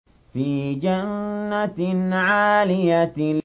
فِي جَنَّةٍ عَالِيَةٍ